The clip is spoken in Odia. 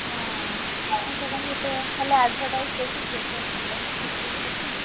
ହଁ ଆଉ ସେଟା ମୁଁ ଏତେ ଖାଲି advertise ଦେଖିଛି ଏତେ ଭଲରେ ଠିକ୍ ସେ ଦେଖିନି।